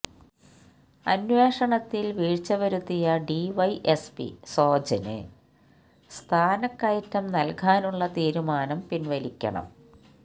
അന്വേഷണത്തില് വീഴ്ച വരുത്തിയ ഡിവൈഎസ്പി സോജന് സ്ഥാനക്കയറ്റം നല്കാനുള്ള തീരുമാനം പിന്വലിക്കണം